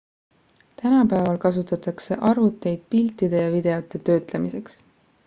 tänapäeval kasutatake arvuteid piltide ja videote töötlemiseks